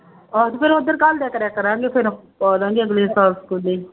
ਆਹੋ ਤੇ ਫਿਰ ਉੱਧਰ ਘੱਲਦਿਆ ਕਰਿਆ ਕਰਾਂਗੇ ਫਿਰ ਪਾ ਦੇਵਾਂਗੇ ਅਗਲੇ ਸਾਲ ਸਕੂਲੇ